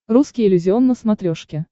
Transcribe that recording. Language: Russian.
русский иллюзион на смотрешке